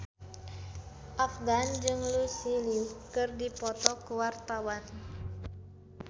Afgan jeung Lucy Liu keur dipoto ku wartawan